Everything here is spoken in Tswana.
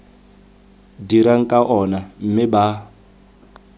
dirang ka ona mme ba